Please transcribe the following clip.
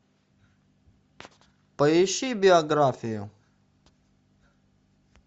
поищи биографию